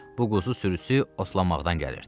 Bu quzu sürüsü otlamaqdan gəlirdi.